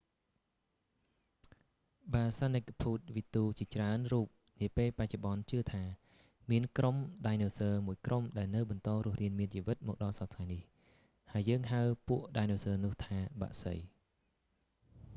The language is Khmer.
បាសាណិភូតវិទូជាច្រើនរូបនាពេលបច្ចុប្បន្នជឿថា មានក្រុមដៃណូស័រមួយក្រុមដែលនៅបន្តរស់រានមានជីវិតមកដល់សព្វថ្ងៃនេះ ហើយយើងហៅពួកដាយណូស័រនោះថា បក្សី